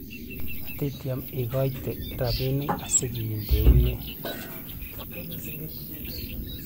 matityem ikoite robinik asikeunden